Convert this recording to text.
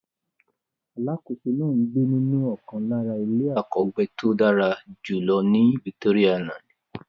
Alákòóso náà ń gbé nínú ọ̀kan lára ilé àkọ́gbéto dára jùlọ ní Victoria island.